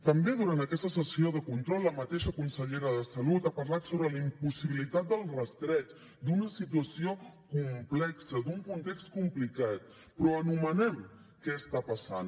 també durant aquesta sessió de control la mateixa consellera de salut ha parlat sobre la impossibilitat del rastreig d’una situació complexa d’un context complicat però anomenem què està passant